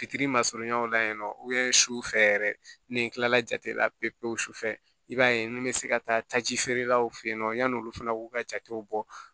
Fitiri ma surunya la yen nɔ su fɛ yɛrɛ ni n kilala jate la pewu pewu su fɛ i b'a ye n bɛ se ka taaji feerelaw fɛ yen nɔ yan'olu fana k'u ka jatew bɔ